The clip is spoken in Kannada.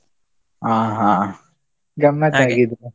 ಹಾ ಹಾ ಗಮ್ಮತ್ ?